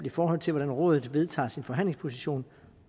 i forhold til hvordan rådet vedtager sin forhandlingsposition